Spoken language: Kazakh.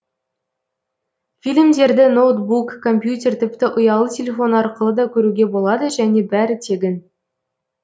фильмдерді ноутбук компьютер тіпті ұялы телефон арқылы да көруге болады және бәрі тегін